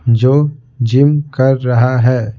जो जिम कर रहा है।